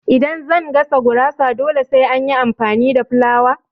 Idan zan gasa gurasa dole sai na yi amfani da fulawa